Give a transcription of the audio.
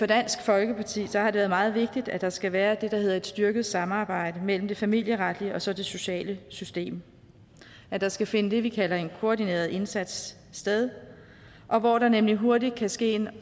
dansk folkeparti har det været meget vigtigt at der skal være det der hedder et styrket samarbejde mellem det familieretlige og så det sociale system at der skal finde det vi kalder en koordineret indsats sted hvor der nemlig hurtigt kan ske en